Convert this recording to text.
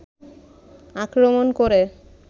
আক্রমন করে